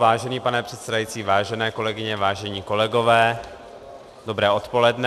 Vážený pane předsedající, vážené kolegyně, vážení kolegové, dobré odpoledne.